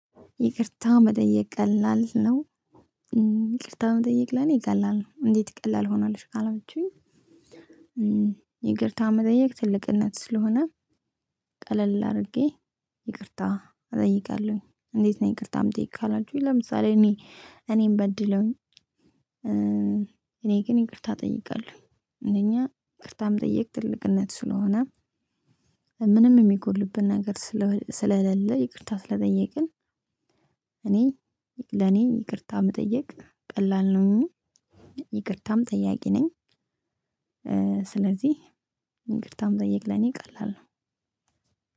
ይቅርታ መጠየቅ ቀላል ነው። ይቅርታ መጠየቅ ለኔ ቀላል ነው እንዴት ቀላል ሆነልሽ ካላችሁኝ? ይቅርታ መጠየቅ ትልቅነት ስለሆነ። ቀለል አድርጌ ይቅርታ እጠይቃለሁኝ። እንዴት ነው? ይቅርታም ጥይት ካላችሁኝ ለምሳሌ እኔ እኔን በድለውኝ። እኔ ግን ይቅርታ እጠይቃለሁ። እኛ ይቅርታም መጠየቅ ትልቅነት ስለሆነ። ምንም የሚጎድልብን ነገር ስለሌለ ይቅርታ ስለጠየቅን። እኔ ለኔ ይቅርታ መጠየቅ ቀላል ነው። ይቅርታም ጠያቂ ነኝ። ስለዚህ ይቅርታ መጠየቅ ለኔ ቀላል ነው።